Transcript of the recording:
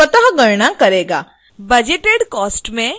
budgeted cost में 800